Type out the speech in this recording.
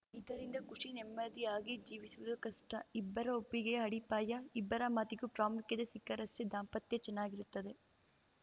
ಇದರಿಂದ ಖುಷಿ ನೆಮ್ಮದಿಯಾಗಿ ಜೀವಿಸುವುದು ಕಷ್ಟ ಇಬ್ಬರ ಒಪ್ಪಿಗೆಯ ಅಡಿಪಾಯ ಇಬ್ಬರ ಮಾತಿಗೂ ಪ್ರಾಮುಖ್ಯತೆ ಸಿಕ್ಕರಷ್ಟೇ ದಾಂಪತ್ಯ ಚೆನ್ನಾಗಿರುತ್ತದೆ